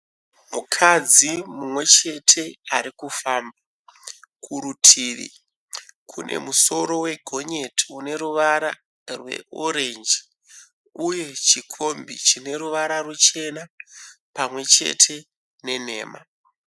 Mukadzi mumwechete arikufamba. Kurutivi kune musoro wegonyeti une ruvara rweorenji uye chikombi chine ruvara ruchena pamwechete nenhema.